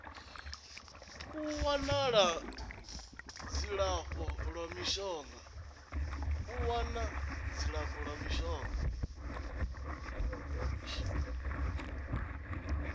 u wana dzilafho la mishonga